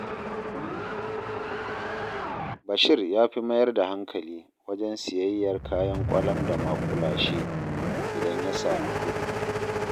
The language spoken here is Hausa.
Bashir ya fi mayar da hankali wajen siyayyar kayan ƙwalam da maƙulashe, idan ya sami kuɗi